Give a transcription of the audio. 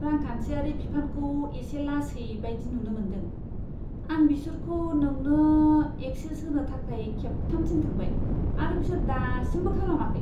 रांखान्थियारि बिफानखौ एसे लासै बायदि नुनो मोनदों। आं बिसोरखौ नोंनो एक्सेस होनो थाखाय खेबथाम थिनखांबाय आरो बिसोर दासिमबो खालामाखै।